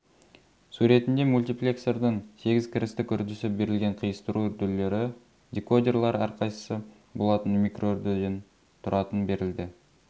суретінде мультиплексордың сегіз кірістік үрдісі берілген қиыстыру үрділері декодерлар әр қайсысы болатын микроүрдіден тұратын берілді